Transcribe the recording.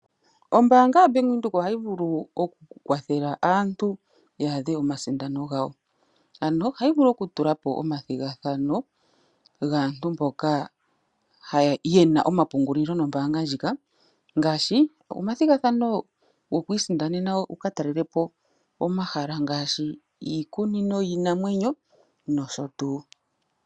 Ombaanga ya Bank Windhoek ohayi vulu okukwathela aantu ya adhe omasindano gawo, ano ohayi vulu okutulapo omathigathano gaantu mboka ye na omapungulilo nombaanga ndjika ngaashi omathigathano goku isindanena wu ka talelepo omahala ngaashi iikunino yiinamwenyo nosho tuu.